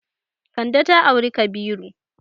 Kande ta auri Kabiru.